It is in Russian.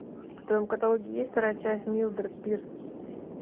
в твоем каталоге есть вторая часть милдред пирс